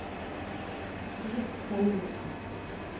Ruth Selvik